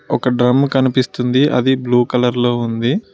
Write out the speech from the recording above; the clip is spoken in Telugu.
ఒక డ్రమ్ము కనిపిస్తుంది అది బ్లూ కలర్ లో ఉంది.